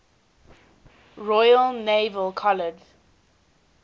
royal naval college